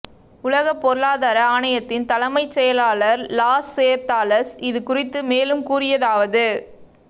உலகப் பொருளாதார ஆணையத்தின் தலைமைச் செயலாளர் லாஸ்சேர்தாலஸ் இது குறித்து மேலும் கூறியதாவது